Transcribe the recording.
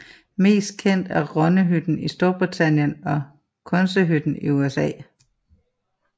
Mest kendte er Romneyhytten i Storbritannien og Quonsethytten i USA